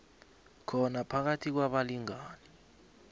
khona phakathi kwabalingani